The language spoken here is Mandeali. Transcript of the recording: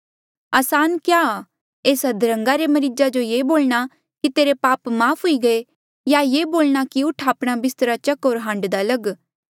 असान क्या आ एस अध्रन्गा रे मरीजा जो ये बोलणा कि तेरे पाप माफ़ हुई गये या ये बोलणा कि उठ आपणा बिस्त्रा चक होर हांडदा लग